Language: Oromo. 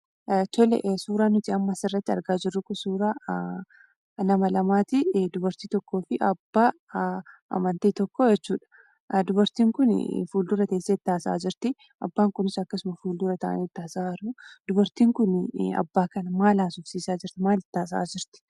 Suuraan nuti amma asirratti argaa jirru kun kan nama lamaati. Dubartii tokkoo fi abbaa amantii tokkoo jechuudha. Dubartiin kun fuuldura teessee itti haasa'aa jirti, abbaan kunis akkasuma fuuldura taa'ee itti haasa'aa jiraa. Dubartiin kun abbaa kana maal haasofsiisaa jirti yookiin maal itti haasa'aa jirti?